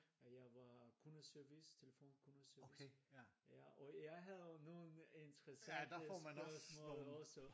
Og jeg var kundeservice telefon kundeservice og jeg havde nogle interessante spørgsmål også